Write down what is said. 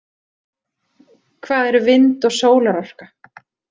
Hvað eru vind- og sólarorka?